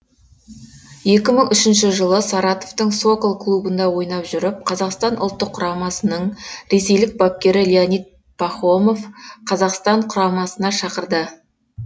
екі мың үшінші жылы саратовтың сокол клубында ойнап жүріп қазақстан ұлттық құрамасының ресейлік бапкері леонид пахомов қазақстан құрамасына шақырды